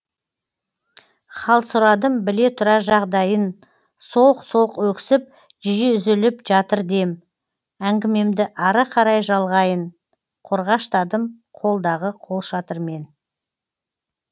хал сұрадым біле тұра жағдайын солқ солқ өксіп жиі үзіліп жатыр дем әңгімемді ары қарай жалғайын қорғаштадым қолдағы қолшатырмен